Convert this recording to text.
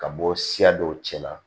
Ka bɔ siya dɔw cɛla la